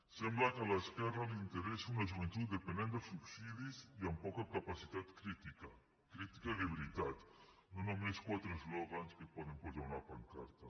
sembla que a l’esquerra li interessa una joventut dependent dels subsidis i amb poca capacitat crítica crítica de veritat no només quatre eslògans que poden posar a una pancarta